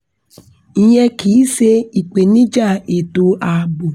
ìyẹn kì í se ìpèníjà ètò ààbò